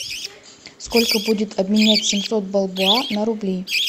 сколько будет обменять семьсот бальбоа на рубли